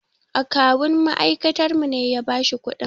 Akawun ma'aikatarmu ne ya ba shi kuɗin.